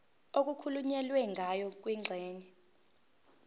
okukhulunywe ngayo kwingxenye